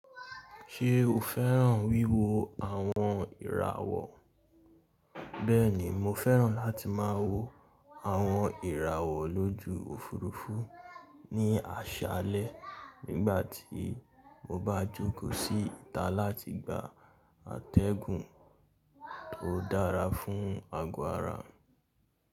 Ṣé o fẹ́ràn wíwo àwọn ìràwọ̀? Bẹ́ẹ̀ni, mo fẹ́ràn láti má wo àwọn ìràwọ̀ lójú òfurufú ní àṣálẹ́ nígbàtí mo bá jókò sí ìta láti gba atẹ́gùn tó dára fún ago ara mi.